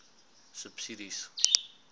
subsidies